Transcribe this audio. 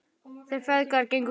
Þeir feðgar gengu út.